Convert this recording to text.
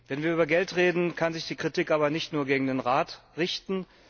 Wenn wir über Geld reden, kann sich die Kritik aber nicht nur gegen den Rat richten.